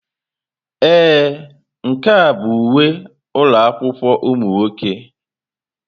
Ee, nke a bụ uwe ụlọ akwụkwọ ụmụ nwoke.